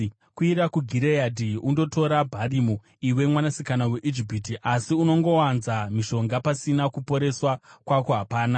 “Kwidza kuGireadhi undotora bharimu, iwe Mwanasikana Mhandara yeIjipiti. Asi unongowanza mishonga pasina; kuporeswa kwako hapana.